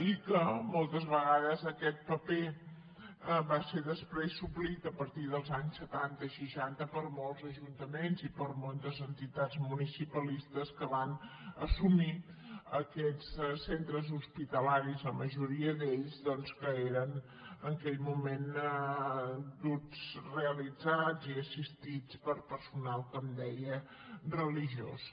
i moltes vegades aquest paper va ser després suplert a partir dels anys setanta seixanta per molts ajuntaments i per moltes entitats municipalistes que van assumir aquests centres hospitalaris la majoria d’ells doncs que eren en aquell moment duts realitzats i assistits per personal com deia religiós